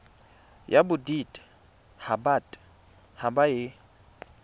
ya bodit habat haba e